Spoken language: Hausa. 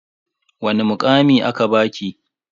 Wani mukami aka baki?